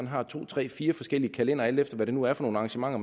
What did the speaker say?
har to tre fire forskellige kalendere alt efter hvad det nu er for nogle arrangementer